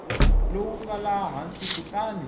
lowu nga laha hansi kutani